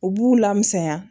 U b'u lamisɛnya